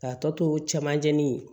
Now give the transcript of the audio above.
K'a tɔ tomanjɛ nin ye